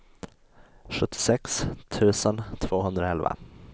sjuttiosex tusen tvåhundraelva